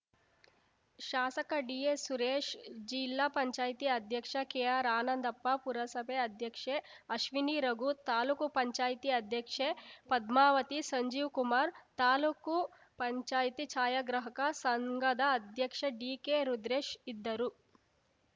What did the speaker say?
ಶಾಸಕ ಡಿಎಸ್‌ಸುರೇಶ್‌ ಜಿಲ್ಲಾ ಪಂಚಾಯತಿ ಅಧ್ಯಕ್ಷ ಕೆಆರ್‌ಆನಂದಪ್ಪ ಪುರಸಭೆ ಅಧ್ಯಕ್ಷೆ ಅಶ್ವಿನಿ ರಘು ಲೂಕು ಪಂಚಾಯತಿ ಅಧ್ಯಕ್ಷೆ ಪದ್ಮಾವತಿ ಸಂಜೀವ್‌ಕುಮಾರ್‌ ತಾಲೂಕು ಪಂಚಾಯತಿ ಛಾಯಾಗ್ರಾಹಕ ಸಂಘದ ಅಧ್ಯಕ್ಷ ಡಿಕೆರುದ್ರೇಶ್‌ ಇದ್ದರು